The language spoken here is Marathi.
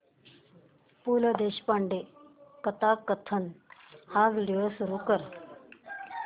पु ल देशपांडे कथाकथन हा व्हिडिओ सुरू कर